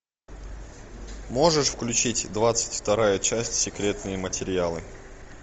можешь включить двадцать вторая часть секретные материалы